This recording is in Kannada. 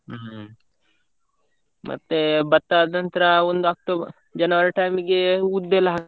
ಹ್ಮ್ , ಮತ್ತೆ ಭತ್ತ ಆದ್ ನಂತ್ರ ಒಂದು October January time ಈಗೆ ಉದ್ದು ಎಲ್ಲ ಹಾಕ್ತಾರೆ.